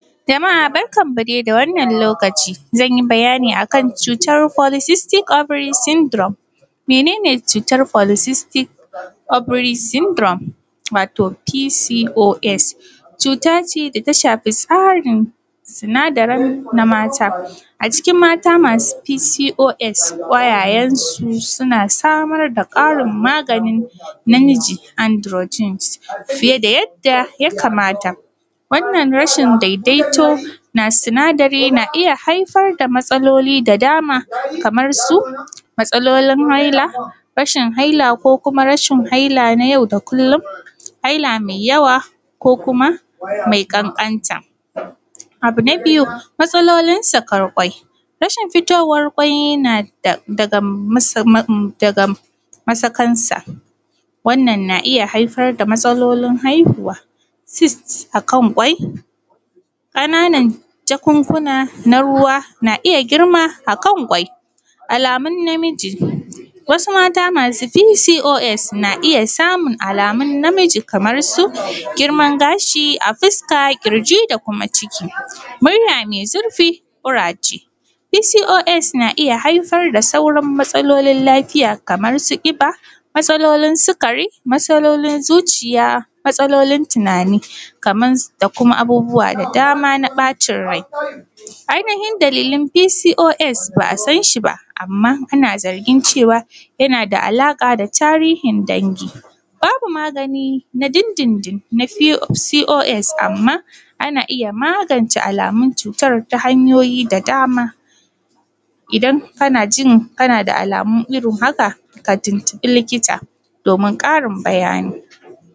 Jama’a barkanmu dai da wannan lokaci zan dai yi bayani akan politistics ovary syndrome. Mene ne cutar politistics ovary syndrome wato PCOS? Cuta ce da ta shafi tsarin sinadaran na mata a cikin mata masu pcos ga kwayayansu, suna samar da ƙarin maganin namiji androgynes fiye da yadda ya kamata, wannan rashin daidaito na sinadari na iya haifar da matsaloli da dama kamar su matsalolin haila, rashin haila ko kuma rashin haila na yau da kullum, haila mai yawa ko kuma mai ƙanƙanta. Abu na biyu, matsalolin sakan kwai, rashin fitowar kwai yana daga masakansu wannan na iya haifar da matsalolin haihuwa sist akan kwai, kana nan jakunkuna na ruwa na iya girma akan kwai, alamun namiji wasu mata masu pcos na iya samun alamun namiji kamar su girman gashi a fuska, kirji da kuma ciki murya mai zurfi, ƙuraje pcos na iya haifar da saurin matsalolin lafiya kamar su ƙiba, matsalolin sukari, matsalolin zuciya, matsalolin tunani kaman su da kuma abubuwa da dama na ɓacin rai, ainihin dalilan pcos ba a san shi ba, amma ana zargin cewa yana da alaƙa da tahirin dangi, babu magani na dindindin na pcos amma ana iya magance alamun cutan ta hanyoyi da dama idan kana jin kana da alamu irin haka ka tuntubi likita domin ƙarin bayani.